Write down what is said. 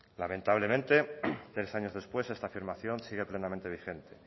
lamentablemente tres años después esta afirmación sigue plenamente vigente